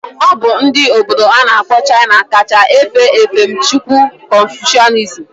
Obu ndi obodo ana akpo China ka cha efe efemchukwu confucianism.